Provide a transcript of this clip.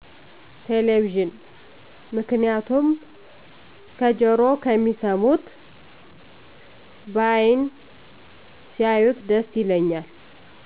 ቴሌቪዥን ምክንያቱም ከጀሮ ከሚሰሙት በአይን ሲያዪት ደስ ይለኛል።